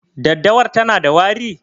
Daddawar tana da wari?